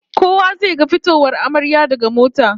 Kowa zai ga fitowar amaryar daga mota